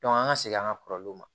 an ka segin an ka kɔrɔlenw ma